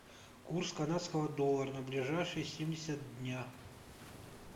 курс канадского доллара на ближайшие семьдесят дня